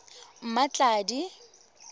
mmatladi